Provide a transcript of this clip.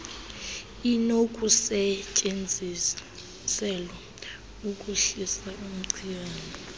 inokusetyenziselwa ukuhlisa umchamo